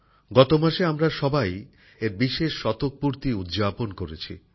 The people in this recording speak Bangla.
গত মাসে আমরা সবাই এর বিশেষ শতকপূর্তি উদযাপন করেছি